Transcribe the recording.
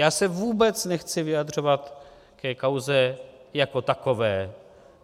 Já se vůbec nechci vyjadřovat ke kauze jako takové.